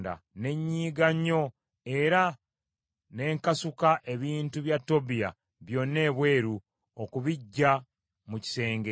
Ne nyiiga nnyo era ne nkasuka ebintu bya Tobiya byonna ebweru, okubiggya mu kisenge.